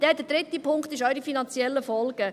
Der dritte Punkt: die finanziellen Folgen.